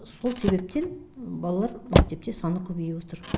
сол себептен балалар мектепте саны көбейіп отыр